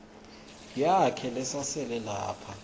yakhe lesasele lapha